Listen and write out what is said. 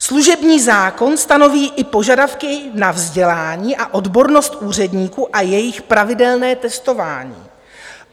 Služební zákon stanoví i požadavky na vzdělání a odbornost úředníků a jejich pravidelné testování.